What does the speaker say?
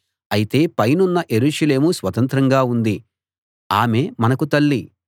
అయితే పైనున్న యెరూషలేము స్వతంత్రంగా ఉంది ఆమె మనకు తల్లి